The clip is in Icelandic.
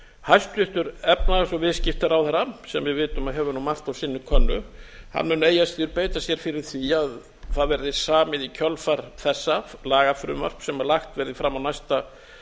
hæstvirtur efnahags og viðskiptaráðherra sem við vitum að hefur margt á sinni könnu mun eigi að síður beita sér fyrir því að það verði samið í kjölfar þessa lagafrumvarp sem lagt verða fram á næsta